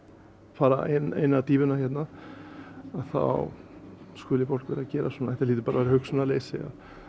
fara enn eina dýfuna hérna þá skuli fólk vera að gera svona þetta hlýtur bara að vera hugsunarleysi